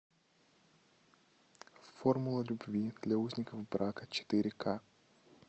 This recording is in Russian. формула любви для узников брака четыре к